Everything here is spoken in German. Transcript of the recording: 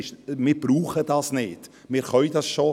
Wir brauchen es nicht, wir können es bereits.